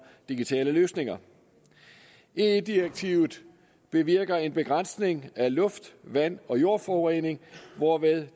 digitale løsninger ie direktivet bevirker en begrænsning af luft vand og jordforurening hvorved